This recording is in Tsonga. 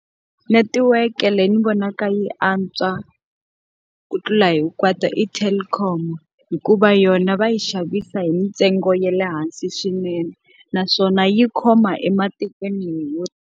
Netiweke leyi ni vonaka yi antswa ku tlula hi kwata i Telkom, hikuva yona va yi xavisa hi mintsengo ya le hansi swinene. Naswona yi khoma ematikweni .